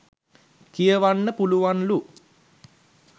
කියවන්න පුලුවන්ලු.